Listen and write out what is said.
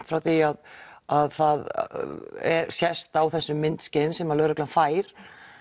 frá því að það sést á þessum myndskeiðum sem lögreglan fær